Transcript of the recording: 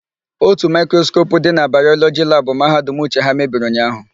Ótù maịkroskopu dị na Bayọlọjị labụ Mahadum Uche ha mebiri ụnyaahụ.